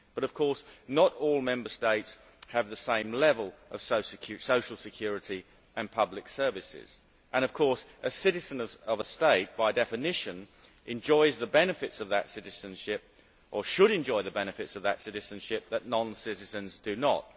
But of course not all Member States have the same level of social security and public services, and of course a citizen of a state, by definition, enjoys the benefits of that citizenship, or should enjoy the benefits of that citizenship that non citizens do not.